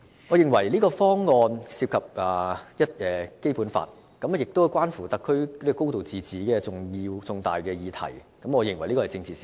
我認為方案涉及《基本法》，關乎到特區"高度自治"等重大議題，是一宗政治事件。